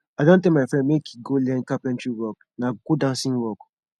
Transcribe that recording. i don tell my friend make he go learn carpentry work na good handson skill